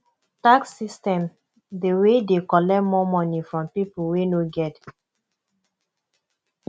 tax system dey wey de collect more money from pipo wey no get